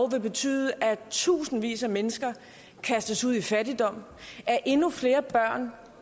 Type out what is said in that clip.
vil betyde at tusindvis af mennesker kastes ud i fattigdom at endnu flere børn